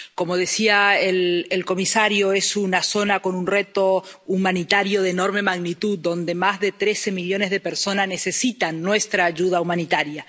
Como decía el comisario, es una zona con un reto humanitario de enorme magnitud, donde más de trece millones de personas necesitan nuestra ayuda humanitaria